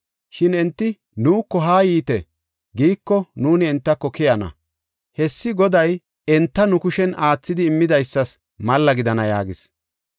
Shin enti, ‘Nuuko haa yiite’ giiko, nuuni entako keyana. Hessi Goday enta nu kushen aathidi immidaysas malla gidana” yaagis.